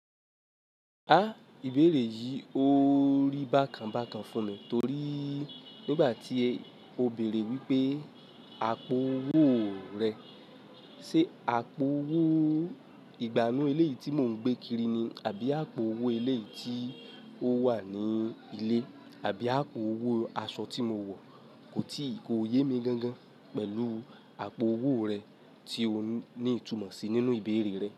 Ha ìbéèrè yí ò rí bákan bákan fún mi torí nígbà tí o bèrè wípé àpò owó rẹ, ṣé àpò owó ìgbànú eléyì tí mo ń gbé kiri ni àbí àpò owó ilé tí ó wà ní ilé àbí àpò owó aṣọ tí mo wọ̀? Kò ti kò yémi gan gan pẹ̀lú àpò owó rẹ tí o ní ìtumọ̀ sí nínú ìbéèrè rẹ.